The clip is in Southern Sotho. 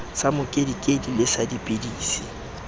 sa mokedikedi le sa dipidisi